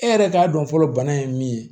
E yɛrɛ k'a dɔn fɔlɔ bana ye min ye